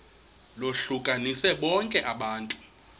lohlukanise bonke abantu